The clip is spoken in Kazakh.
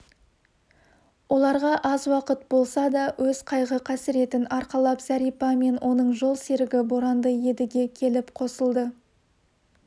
оларға аз уақыт болса да өз қайғы-қасіретін арқалап зәрипа мен оның жол серігі боранды едіге келіп қосылды